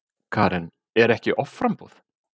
Karen: Er ekki offramboð?